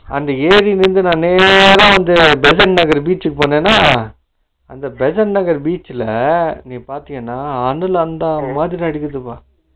அந்த ஏரில இருந்து நா நேர வந்து பேசன் நகர் beach க்கு போனேனா, அங்க பேசன் நகர் beach ல நீ பாதேன்னா அணில் அண்டாமாதிரி ஆடிட்டு இருக்கும்